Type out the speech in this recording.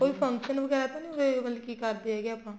ਕੋਈ function ਵਗੈਰਾ ਤਾਂ ਨਹੀਂ ਉਰੇ ਮਤਲਬ ਕੀ ਕਰਦੇ ਹੈਗੇ ਆਪਾਂ